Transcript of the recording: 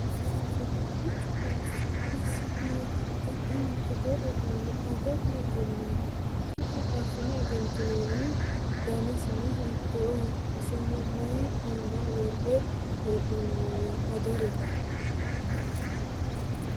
Uduunnichu kuni su'masi maatikka? Ani togoo uduunne afe degenoommana ki'ne affine egentinoonni? Danisino hiittoho? Isono mayii iima worre hee'noyi agarina?